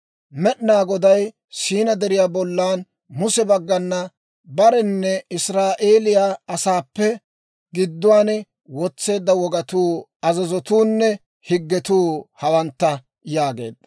«Med'inaa Goday Siinaa Deriyaa bollan Muse bagganna bareppenne Israa'eeliyaa asaappe gidduwaan wotseedda wogatuu, azazotuunne higgetuu hawantta» yaageedda.